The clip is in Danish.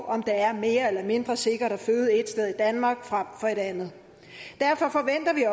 om det er mere eller mindre sikkert at føde et sted i danmark frem for et andet derfor forventer vi